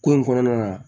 Ko in kɔnɔna na